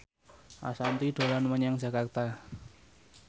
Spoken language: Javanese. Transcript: Ashanti dolan menyang Jakarta